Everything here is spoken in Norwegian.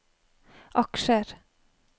aksjer